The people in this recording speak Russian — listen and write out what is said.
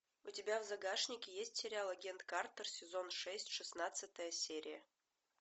у тебя в загашнике есть сериал агент картер сезон шесть шестнадцатая серия